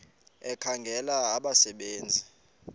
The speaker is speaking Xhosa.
ekhangela abasebe nzi